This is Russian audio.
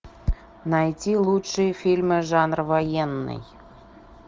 найти лучшие фильмы жанр военный